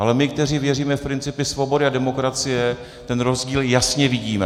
Ale my, kteří věříme v principy svobody a demokracie, ten rozdíl jasně vidíme.